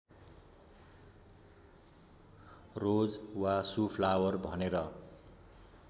रोज वा सुफ्लावर भनेर